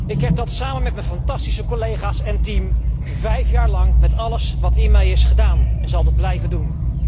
Ik heb dat, samen met mijn fantastische collega's en team vijf jaar lang met alles wat in mij is, gedaan en zal dat blijven doen.